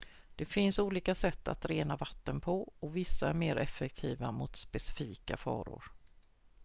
det finns olika satt att rena vatten på och vissa är mer effektiva mot specifika faror